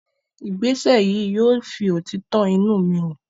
Ìgbésẹ̀ yìí yóò fi òtítọ́ inú mi hàn.